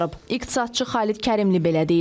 İqtisadçı Xalid Kərimli belə deyir.